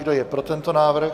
Kdo je pro tento návrh?